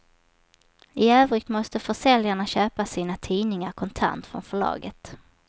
I övrigt måste försäljarna köpa sina tidningar kontant från förlaget.